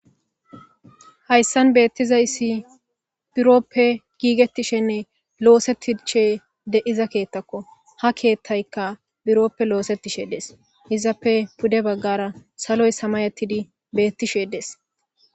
hayssan beettizayssi biroppe giigetishenne loosettishe de iza keettakko ha keethtaykka biroppe loosetishe dees izappe pude baggara saloy samayettidi beettishe des